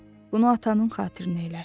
Bunu atanın xatirəsinə elə.